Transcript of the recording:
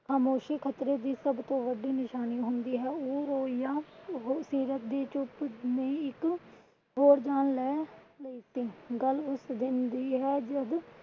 ਖਾਮੋਸ਼ੀ ਖ਼ਤਰੇ ਦੀ ਸਬਤੋਂ ਵੱਡੀ ਨਿਸ਼ਾਨੀਂ ਹੁੰਦੀ ਹੈ ਉਹ ਰੋਇ ਯਾ ਸੀਰਤ ਦੀ ਚੁੱਪ ਨੇ ਇੱਕ ਹੋਰ ਜਾਨ ਲੈ ਲਿੱਤੀ। ਗੱਲ ਉਸ ਦਿਨ ਦੀ ਹੈ ਜੱਦ